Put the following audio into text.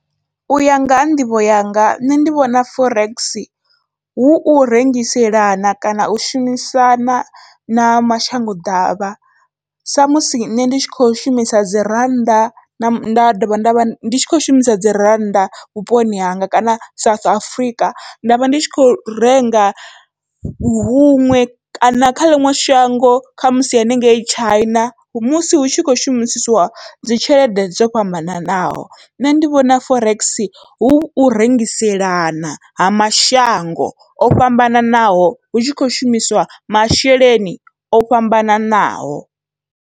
Uya nga ha nḓivho yanga nṋe ndi vhona forex hu u rengiselana kana u shumisana na mashango ḓavha, sa musi nṋe ndi tshi kho shumisa dzi rannda nda dovha ndavha ndi kho shumisa dzi rannda vhuponi hanga kana South Africa nda vha ndi tshi kho renga huṅwe kana kha ḽiṅwe shango khamusi haningei China, musi hu tshi kho shumisisiwa dzi tshelede dzo fhambananaho nṋe ndi vhona forex hu u rengiselana ha mashango o fhambananaho hu tshi kho shumisa masheleni o fhambananaho.